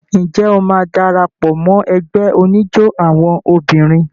Ǹjẹ́ o máa dara pọ̀ mọ́ ẹgbẹ́ oníjó àwọn obìnrin?